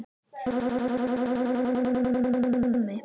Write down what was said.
Er ekki lífi okkar lifað í röngu formi?